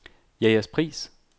Jægerspris